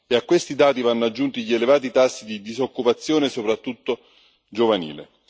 e a questi dati vanno aggiunti gli elevati tassi di disoccupazione, soprattutto giovanile.